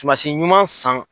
Tumansi ɲuman san